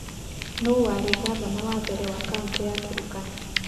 Nũũ warĩ ngavana wa mbere wa kaũntĩ ya Turkana?